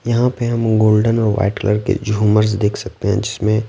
यहाँ पे हम गोल्डन और वाइट कलर के झूमर्स देख सकते हैं जिसमें--